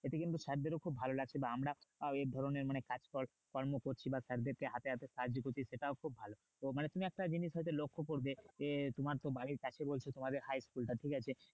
এতে কিন্তু sir দেরও খুব ভালো লাগবে বা আমরা আহ এ ধরণের মানে কাজকর্ম করছি বা sir দের কে হাতে হাতে সাহায্য করছি সেটাও খুব তো মানে তুমি একটা জিনিস সেদিন লক্ষ্য করবে যে তোমার তো বাড়ির কাছে বলছো তোমাদের high school টা ঠিক আছে,